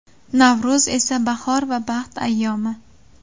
Navro‘z esa bahor va baxt ayyomi.